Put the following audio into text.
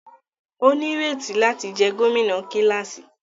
O nireti láti jẹ gómìnà kilasi